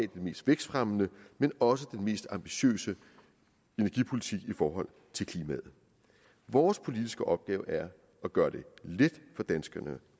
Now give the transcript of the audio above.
den mest vækstfremmende men også den mest ambitiøse energipolitik i forhold til klimaet vores politiske opgave er at gøre det let for danskerne